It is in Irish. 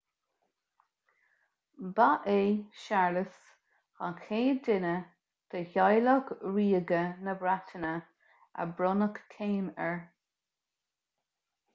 ba é séarlas an chéad duine de theaghlach ríoga na breataine ar bronnadh céim air